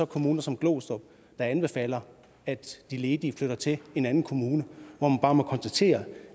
kommuner som glostrup der anbefaler at de ledige flytter til en anden kommune hvor man bare må konstatere